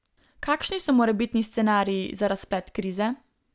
Kakšni so morebitni scenariji za razplet krize?